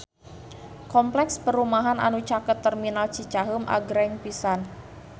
Kompleks perumahan anu caket Terminal Cicaheum agreng pisan